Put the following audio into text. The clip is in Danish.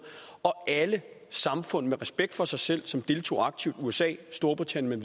og alle samfund med respekt for sig selv som deltog aktivt usa storbritannien